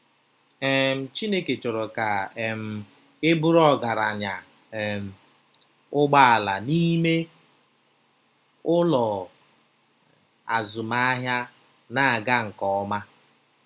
um Chineke chọrọ ka um ị bụrụ ọgaranya um - ụgbọala n'ime ụlọ, azụmahịa na-aga nke ọma.